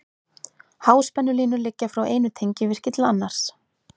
Háspennulínur liggja frá einu tengivirki til annars.